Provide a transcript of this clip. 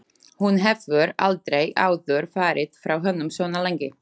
Hún hefur aldrei áður farið frá honum svona lengi.